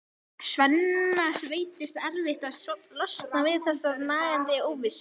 Svenna veitist erfitt að losna við þessa nagandi óvissu.